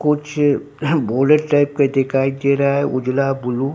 कुछ भूरे टाइप के दिखाई दे रहा है उजला ब्लू --